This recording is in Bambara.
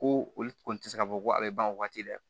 Ko olu kɔni tɛ se ka fɔ ko a bɛ ban o waati dɛ